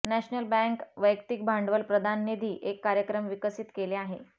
national bank वैयक्तिक भांडवल प्रदान निधी एक कार्यक्रम विकसित केले आहे